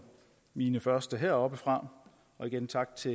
mine første heroppefra og igen tak til